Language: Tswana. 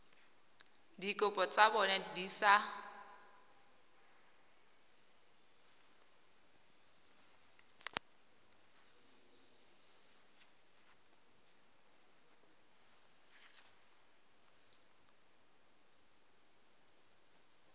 dikopo tsa bona di sa